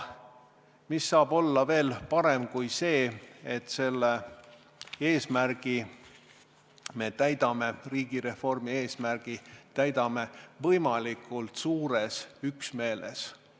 Mis saab olla veel parem kui see, et me selle riigireformi eesmärgi täidame võimalikult suures üksmeeles!